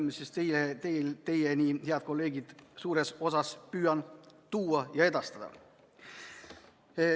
Ma püüan tuua need suures osas teieni, head kolleegid, ja teile edastada.